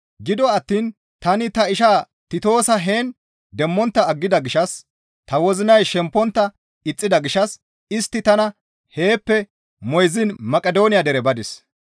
Gido attiin tani ta ishaa Titoosa heen demmontta aggida gishshas, ta wozinay shempontta ixxida gishshas istti tana heeppe moyziin Maqidooniya dere badis.